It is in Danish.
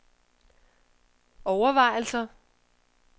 overvejelser